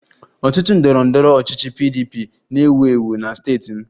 Otu ndọrọ ndọrọ ọchịchị PDP na-ewu ewu na steeti m